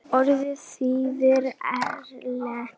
Þín frænka, Kalla.